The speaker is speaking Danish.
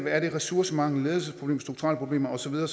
er det ressourcemangel ledelsesproblemer strukturelle problemer og så videre